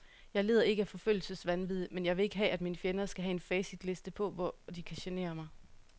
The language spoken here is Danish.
Jeg lider ikke af forfølgelsesvanvid, men jeg vil ikke have, at mine fjender skal have en facitliste på, hvor de kan genere mig.